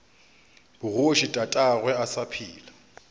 bogoši tatagwe a sa phela